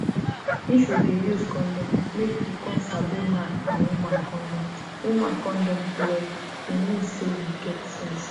if you dey use condom make you come sabi man and woman condom woman condom well e mean say you get sense